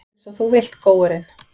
Einsog þú vilt, góurinn.